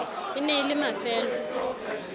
e ne e le mafelo